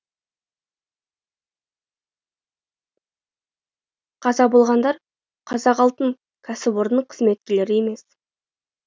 қаза болғандар қазақалтын кәсіпорнының қызметкерлері емес